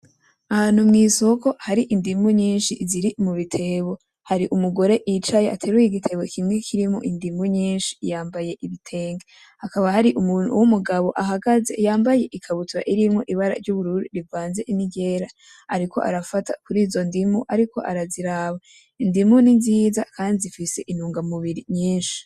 Ahantu mw'isoko hari indimu nyinshi ziri mubitebo, hari umugore yicaye ateruye igitebo kimwe kirimwo indimu nyinshi yambaye ibitenge, hakaba hari umuntu w'umugabo ahagaze yambaye ikabutura irimwo ibara ry'ubururu rivanze n'iryera ,ariko arafata kurizo ndiko ariko araziraba, indimu ni nziza kandi zifise intungamubiri nyinshi.